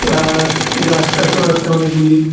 Plus গাস টাচও আসে অনেকগুলি।